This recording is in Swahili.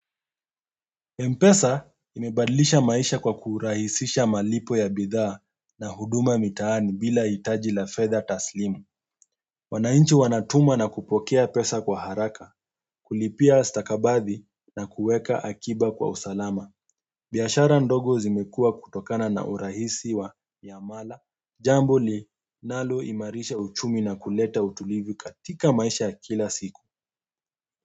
Mpesa imebadlisha maisha kwa kurahisisha malipo ya bidhaa na huduma mitaani bila hitaji la fedha taslimu wananchi wanatuma na kupokea pesa kwa haraka kulipia stakabadhi na kuweka akiba kwa usalama biashara ndogo zimekua kutokana na urahisi wa ya mala jambo linaloimarisha uchumi na kuleta utulivu katika maisha ya kila siku.